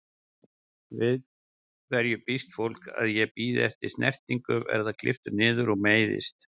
Við hverju býst fólk, að ég bíði eftir snertingu, verð klipptur niður og meiðist?